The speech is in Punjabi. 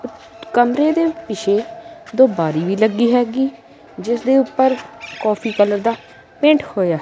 ਕਮਰੇ ਦੇ ਪਿੱਛੇ ਦੋ ਬਾਰੀ ਵੀ ਲੱਗੀ ਹੈਗੀ ਜਿਸ ਦੇ ਉੱਪਰ ਕੋਫੀ ਕਲਰ ਦਾ ਪੇਂਟ ਹੋਇਆ--